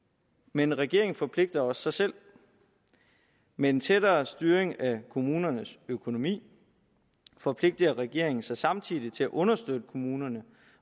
men regeringen forpligter også sig selv med en tættere styring af kommunernes økonomi forpligter regeringen sig samtidig til at understøtte kommunerne